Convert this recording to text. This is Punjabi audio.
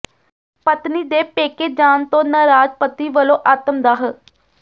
ਪਤਨੀ ਦੇ ਪੇਕੇ ਜਾਣ ਤੋਂ ਨਾਰਾਜ਼ ਪਤੀ ਵੱਲੋਂ ਆਤਮਦਾਹ